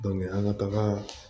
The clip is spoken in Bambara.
an ka taga